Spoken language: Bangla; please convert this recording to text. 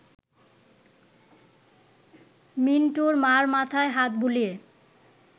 মিন্টুর মা’র মাথায় হাত বুলিয়ে